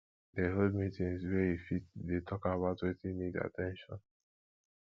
de hold meetings where you fit de talk about wetin need at ten tion